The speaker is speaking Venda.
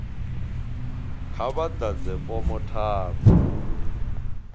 kha vha ḓadze fomo tharu